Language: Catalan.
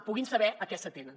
puguin saber a què s’atenen